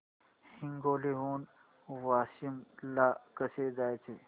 हिंगोली हून वाशीम ला कसे जायचे